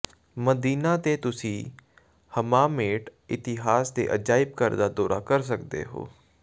ਮਦੀਨਾ ਤੇ ਤੁਸੀਂ ਹਮਾਮੇਟ ਇਤਿਹਾਸ ਦੇ ਅਜਾਇਬ ਘਰ ਦਾ ਦੌਰਾ ਕਰ ਸਕਦੇ ਹੋ